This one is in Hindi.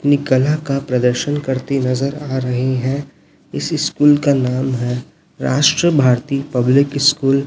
अपनी कला का प्रदर्शन करती नजर आ रही है इस स्कूल का नाम है राष्ट्र भारती पब्लिक स्कूल ।